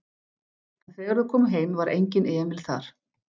En þegar þau komu heim var enginn Emil þar.